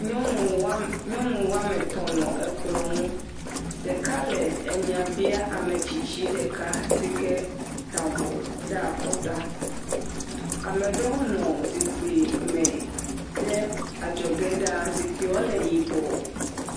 Nyɔnu wɔme nyɔnu wɔme etɔ̃ nɔ ekplɔ nu. Ɖeka le enya biam ame tsitsi ɖeka si ke ta avɔ ɖe akɔta. Ame aɖewo hã nɔ zikpui me ɖe adzɔge ɖa. zikpuiawo le yibɔ.